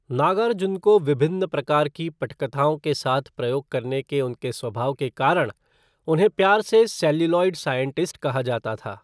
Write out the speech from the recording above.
नागार्जुन को विभिन्न प्रकार की पटकथाओं के साथ प्रयोग करने के उनके स्वभाव के कारण उन्हें प्यार से 'सेल्युलॉइड साइंटिस्ट' कहा जाता था।